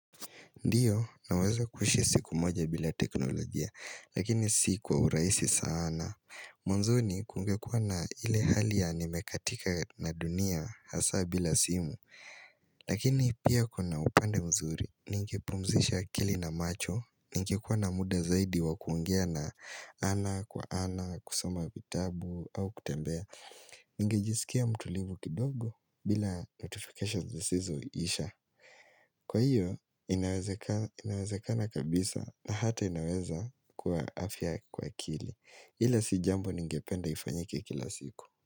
Ndiyo, naweza kuushi siku moja bila teknolojia, lakini si kwa urahisi sana. Mwanzoni kungekua na ile hali ya nimekatika na dunia hasa bila simu. Lakini pia kuna upande mzuri, ningepumzisha akili na macho, ningekuwa na muda zaidi wa kuongea na ana kwa ana, kusoma vitabu, au kutembea. Niigejisikia mtulivu kidogo bila notification zisizoisha. Kwa hiyo, inaweze kana kabisa na hata inaweza kwa afya kwa akili ila sijambo ningependa ifanyike kila siku.